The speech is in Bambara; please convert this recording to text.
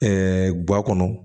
guwa kɔnɔ